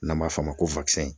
N'an m'a f'ɔ ma ko